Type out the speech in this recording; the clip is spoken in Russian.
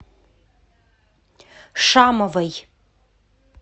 шамовой